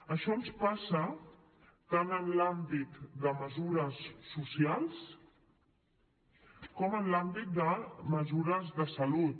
això ens passa tant en l’àmbit de mesures socials com en l’àmbit de mesures de salut